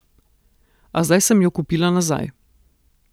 A zdaj sem jo kupila nazaj.